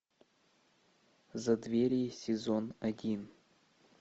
задверье сезон один